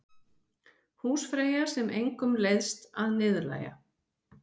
Húsfreyja sem engum leiðst að niðurlægja.